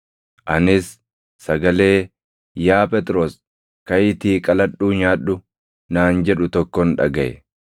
Anis sagalee, ‘Yaa Phexros, kaʼiitii qaladhuu nyaadhu’ naan jedhu tokkon dhagaʼe.